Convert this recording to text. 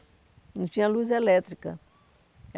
Não tinha luz elétrica.